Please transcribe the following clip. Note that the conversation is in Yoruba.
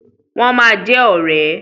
Wọ́n ma jẹ ọ̀rẹ́.